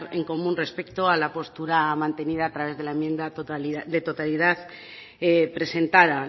en común respecto a la postura mantenida a través de la enmienda de totalidad presentada